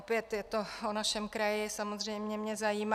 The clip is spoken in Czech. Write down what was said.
Opět je to o našem kraji, samozřejmě mě zajímá.